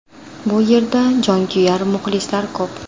Bu yerda jonkuyar muxlislar ko‘p.